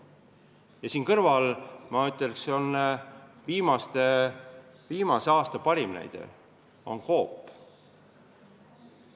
Ja siin kõrval, ma ütleks, on viimase aasta parim näide Coop.